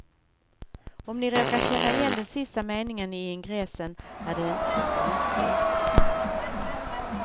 Om ni råkar känna igen den sista meningen i ingressen är det inte så konstigt.